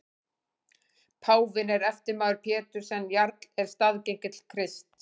Páfinn er eftirmaður Péturs en jarl eða staðgengill Krists.